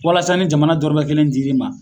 Walasa ni jamana dɔɔrɔ mɛ kelen dir'i ma.